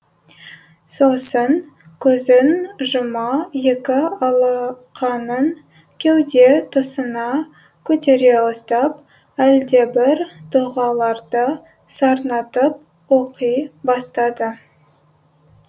сосын көзін жұма екі алақанын кеуде тұсына көтере ұстап әлдебір дұғаларды сарнатып оқи бастады